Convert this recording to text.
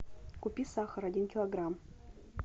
купи сахар один килограмм